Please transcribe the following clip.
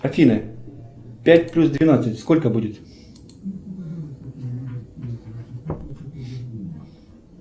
афина пять плюс двенадцать сколько будет